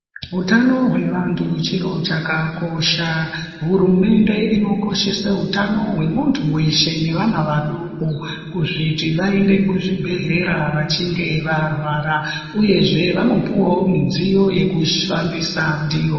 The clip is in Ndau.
Hutano hwevantu chiro chakakosha hurumende inokoshesa hutano hwemuntu weshe neavna vadoko kuti vaende kuchibhedhlera vachinge varwara uyezve vanopuwa midziyo yekufambisa ndiyo.